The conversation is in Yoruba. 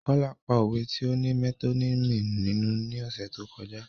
Kola pa òwe ti o ní metonymi nínú ni ọ̀sẹ̀ tó kọjá